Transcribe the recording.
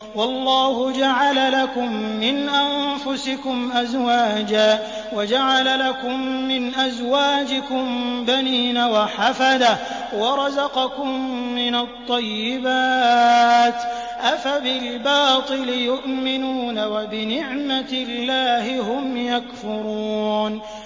وَاللَّهُ جَعَلَ لَكُم مِّنْ أَنفُسِكُمْ أَزْوَاجًا وَجَعَلَ لَكُم مِّنْ أَزْوَاجِكُم بَنِينَ وَحَفَدَةً وَرَزَقَكُم مِّنَ الطَّيِّبَاتِ ۚ أَفَبِالْبَاطِلِ يُؤْمِنُونَ وَبِنِعْمَتِ اللَّهِ هُمْ يَكْفُرُونَ